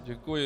Děkuji.